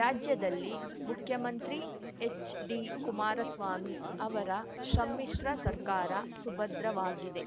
ರಾಜ್ಯದಲ್ಲಿ ಮುಖ್ಯಮಂತ್ರಿ ಎಚ್‌ಡಿಕುಮಾರಸ್ವಾಮಿ ಅವರ ಸಮ್ಮಿಶ್ರ ಸರ್ಕಾರ ಸುಭದ್ರವಾಗಿದೆ